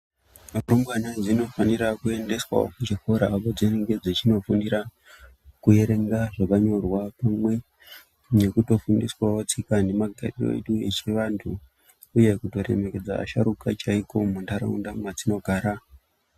Rumbwana dzinofanira kuendeswavo kuchikora kwadzinenge dzechinofundira kuerenga zvakanyorwa. Pamwe nekutofundiswavo tsika nemagariro atinoitavo echivantu, uye kuto remekedza asharuka chaiko munharaunda madzinogara.